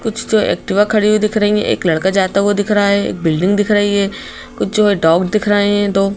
कुछ दो एक्टिवा खड़ी हुई दिख रही है। एक लड़का जाता हुआ दिखा रहा है। एक बिल्डिंग दिख रही है। कुछ जो है डॉग दिख रहे है दो।